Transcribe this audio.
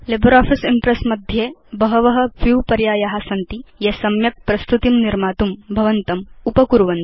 LibreOffice Impress मध्ये बहव view पर्याया सन्ति ये सम्यक् प्रस्तुतिं निर्मातुं भवन्तं साहाय्यीकुर्वन्ति